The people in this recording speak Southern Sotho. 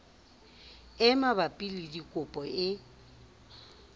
e mabapi le dikopo e